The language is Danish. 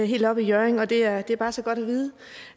helt oppe i hjørring og det er at det er bare så godt